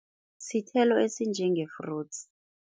Sithelo esinjenge-fruits.